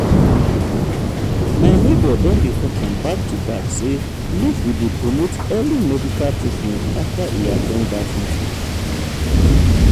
my neighbor don dey talk am back to back say make we dey promote early medical treatment after e at ten d dat meeting.